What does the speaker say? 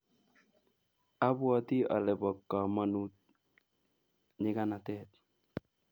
Apwoti ale po kamonut nyiganatet